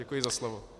Děkuji za slovo.